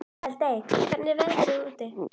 Eldmey, hvernig er veðrið úti?